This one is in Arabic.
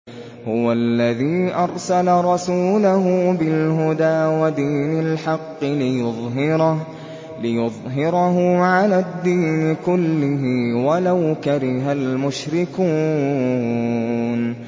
هُوَ الَّذِي أَرْسَلَ رَسُولَهُ بِالْهُدَىٰ وَدِينِ الْحَقِّ لِيُظْهِرَهُ عَلَى الدِّينِ كُلِّهِ وَلَوْ كَرِهَ الْمُشْرِكُونَ